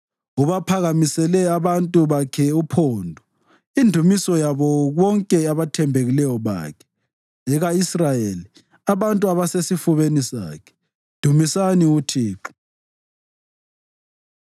Ubaphakamisele abantu bakhe uphondo, indumiso yabo bonke abathembekileyo bakhe, eka-Israyeli, abantu abasesifubeni sakhe. Dumisani uThixo.